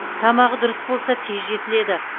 тамағы дұрыс болса тез жетіледі